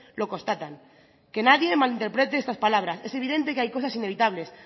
lo constatan que nadie mal interprete estas palabras es evidente que hay cosas inevitables